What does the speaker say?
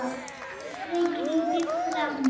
Aldrei gripið frammí.